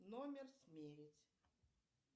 номер смерить